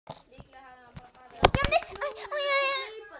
Nú og svo auðvitað vegna stelpunnar.